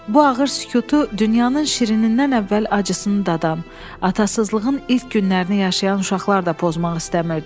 Bu ağır sükutu dünyanın şirinindən əvvəl acısını dadan, atasıızlığın ilk günlərini yaşayan uşaqlar da pozmaq istəmirdi.